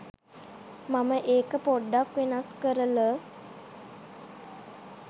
මම ඒක පොඩ්ඩක් වෙනස් කරල